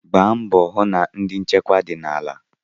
Gbaa mbọ hụ na ndi nchekwa dị n'ala.